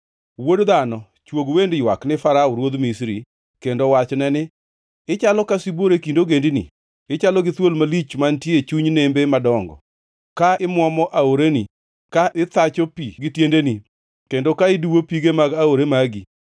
“Wuod dhano, chwog wend ywak ni Farao ruodh Misri, kendo wachne ni: “ ‘Ichalo ka sibuor e kind ogendini, ichalo gi thuol malich mantie e chuny nembe madongo, ka imuomo aoreni ka ithacho pi gi tiendeni, kendo ka iduwo pige mag aore magi.